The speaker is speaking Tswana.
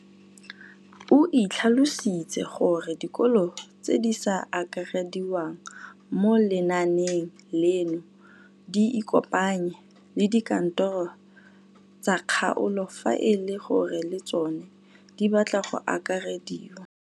O tlhalositse gore dikolo tse di sa akarediwang mo lenaaneng leno di ikopanye le dikantoro tsa kgaolo fa e le gore le tsona di batla go akarediwa.